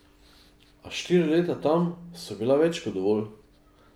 A štiri leta tam so bila več kot dovolj.